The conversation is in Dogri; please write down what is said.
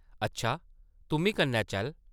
अच्छा, तुʼम्मी कन्नै चल ।